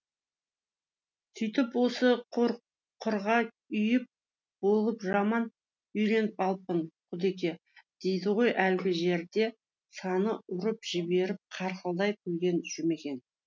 сөйтіп осы құрғырға үйір болып жаман үйреніп алыппын құдеке дейді ғой әлгі жерде саны ұрып жіберіп қарқылдай күлген жұмекең